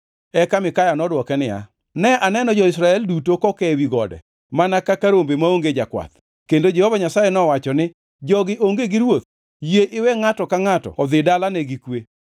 Eka Mikaya nodwoke niya, “Ne aneno jo-Israel duto koke ewi gode mana kaka rombe maonge jakwath, kendo Jehova Nyasaye nowacho ni, ‘Jogi onge gi ruoth. Yie iwe ngʼato ka ngʼato odhi e dalane gi kwe.’ ”